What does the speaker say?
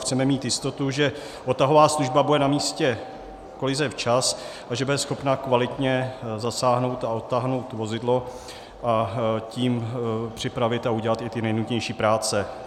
Chceme mít jistotu, že odtahová služba bude na místě kolize včas a že bude schopna kvalitně zasáhnout a odtáhnout vozidlo, a tím připravit a udělat i ty nejnutnější práce.